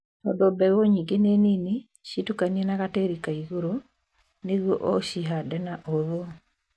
Tondũ mbegũ nyingĩ nĩ nini, citukanie na gatĩri ka igũrũ nĩguo ũcihande na ũhũthũ